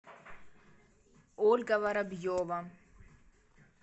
ольга воробьева